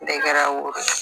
Bɛɛ kɛra woro